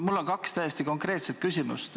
Mul on kaks täiesti konkreetset küsimust.